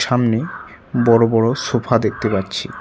সামনে বড়ো বড়ো সোফা দেখতে পাচ্ছি।